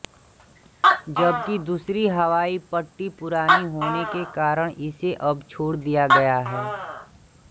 जबकि दूसरी हवाई पट्टी पुरानी होने के कारण इसे अब छोड़ दिया गया है